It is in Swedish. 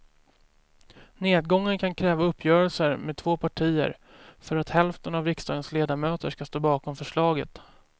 Nedgången kan kräva uppgörelser med två partier för att hälften av riksdagens ledamöter ska stå bakom förslaget.